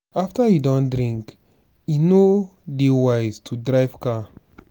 after you don drink e no dey wise to drive car